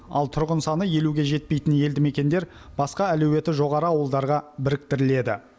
ал тұрғын саны елуге жетпейтін елді мекендер басқа әлеуеті жоғары ауылдарға біріктіріледі